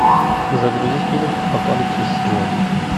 загрузи фильм апокалипсис сегодня